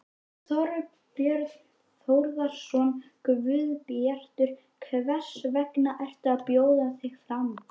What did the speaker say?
Þorbjörn Þórðarson: Guðbjartur, hvers vegna ertu að bjóða þig fram?